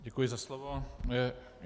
Děkuji za slovo.